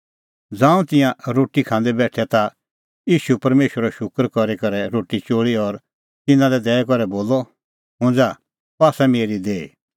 ज़ांऊं तिंयां रोटी खांदै बेठै ता ईशू परमेशरो शूकर करी करै रोटी चोल़ी और तिन्नां लै दैई करै बोलअ हुंज़ा अह आसा मेरी देही